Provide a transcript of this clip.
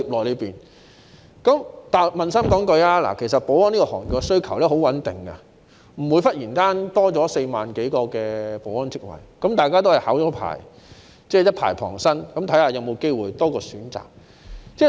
老實說，保安行業的需求十分穩定，不會忽然增加4萬多個保安職位，大家也是先考取牌照，一牌傍身，看看是否有機會多一個選擇。